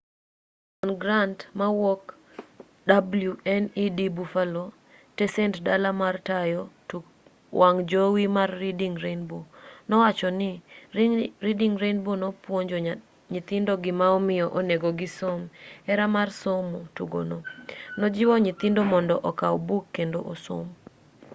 john grant mawuok wned buffalo tesend dala mar tayo tuk wang' jowi mar reading rainbow nowacho ni reading rainbow nopuonjo nyithindo gima omiyo onego gisom,. .. hera mar somo - [tugono] nojiwo nyithindo mondo okaw buk kendo osom.